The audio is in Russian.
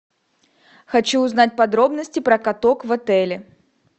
хочу узнать подробности про каток в отеле